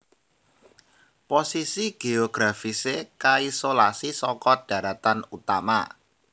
Posisi géografisé kaisolasi saka dharatan utama